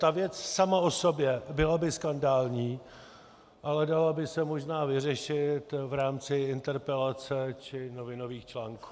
Ta věc sama o sobě byla by skandální, ale dala by se možná vyřešit v rámci interpelace či novinových článků.